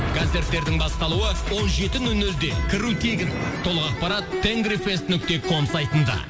концерттердің басталуы он жеті нөл нөлде кіру тегін толық ақпарат тенгрифест нүкте ком сайтында